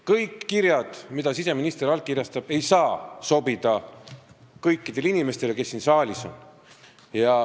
Kõik kirjad, mis siseminister allkirjastab, ei saa sobida kõikidele inimestele, kes siin saalis on.